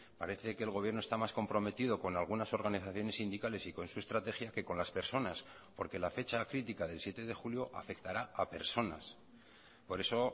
parece que el gobierno está más comprometido con algunas organizaciones sindicales y con su estrategia que con las personas porque la fecha crítica del siete de julio afectará a personas por eso